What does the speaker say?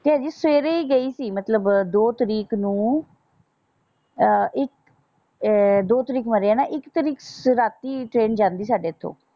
ਤੇ ਹਜੇ ਸਵੇਰੇ ਈ ਗਈ ਸੀ ਮਤਲਬ ਦੋ ਤਰੀਕ ਨੂੰ ਅਹ ਇੱਕ ਆਹ ਦੋ ਤਰੀਕ ਮਰਿਆ ਨਾ ਇੱਕ ਤਰੀਕ ਰਾਤੀ ਟਰੇਨ ਜਾਂਦੀ ਸਾਡੇ ਇਥੋਂ।